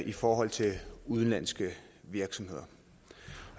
i forhold til udenlandske virksomheder